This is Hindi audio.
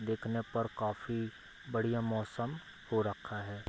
देखने पर काफी बढ़िया मौसम हो रखा है।